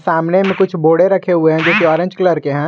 सामने में कुछ बोडे रखें हुए हैं जो की ऑरेंज कलर के हैं।